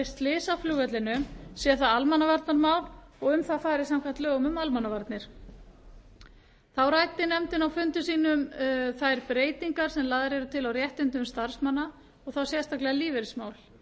slys á flugvellinum sé það almannavarnamál og um það fari samkvæmt lögum um almannavarnir þá ræddi nefndin á fundum sínum þær breytingar sem lagðar eru til á réttindum starfsmanna og þá sérstaklega lífeyrismál